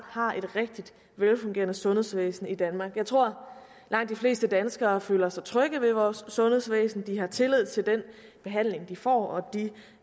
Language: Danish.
har et rigtig velfungerende sundhedsvæsen i danmark jeg tror at langt de fleste danskere føler sig trygge ved vores sundhedsvæsen de har tillid til den behandling de får og de